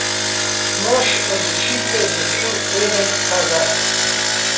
Mož odločitve je bil Eden Hazard.